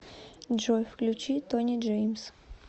джой включи тони джеймс